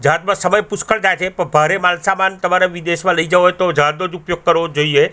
જહાજમાં સમય પુષ્કળ થાય છે પણ ભારે માલ સામાન તમારે વિદેશમાં લઇ જવો હોય તો જહાજનો જ ઉપયોગ કરવો જોઈએ.